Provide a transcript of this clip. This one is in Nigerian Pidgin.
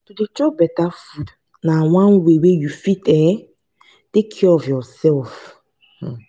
to chop beta food na one way wey you fit um take care of yoursef.